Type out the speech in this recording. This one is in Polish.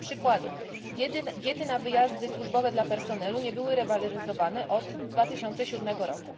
Dla przykładu diety na wyjazdy służbowe dla personelu nie były rewaloryzowane od 2007 r.